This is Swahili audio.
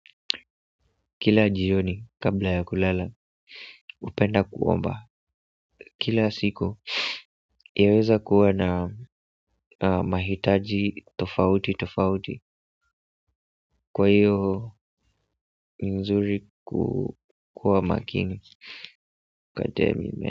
Kila jioni kabla ya kulala, hupenda kuomba kila siku yaweza kuwa na mahitaji tofauti tofauti kwa hiyo ni vizuri kuwa makini.